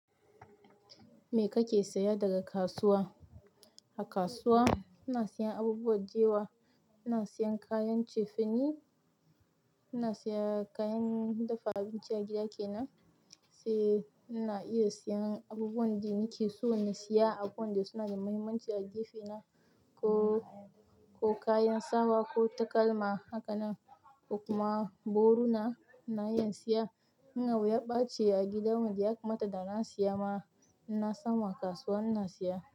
Me kake saya daga kasuwa? A kasuwa ina siyan abubuwan kewa, ina siyan kayan cefane, ina in siya kayan dafa abincin a gida kenan, sai ina iya siya abubuwan da nike so na siya abu wanda suna da mahimmanci a gefe na ko kayan sawa ko takalma hakannan kuma gorona ina iya siya. In abu ya ɓace a gidanmu, da ya kamata da na siya ma ina samu a kasuwa ina siya.